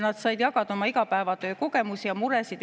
Nad said jagada oma igapäevatöö kogemusi ja muresid.